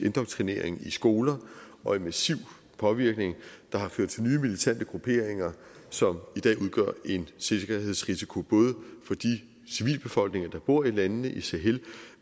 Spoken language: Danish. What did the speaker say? indoktrinering i skoler og en massiv påvirkning der har ført til nye militante grupperinger som i dag udgør en sikkerhedsrisiko både for de civilbefolkninger der bor i landene i sahel